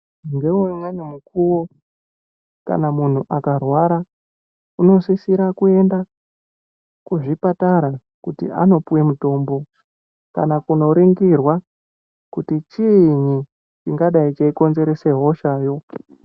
Ngeumweni mukuvo kana muntu akarwara unosisira kuenda kuzvipatara kuti anopuve mutombo. Kana kunoringirwa kuti chiinyi chingadai cheikonzeresa hoshayo.